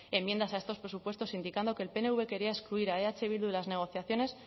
enmiendas a estos presupuestos indicando que el pnv quería excluir a eh bildu de las negociaciones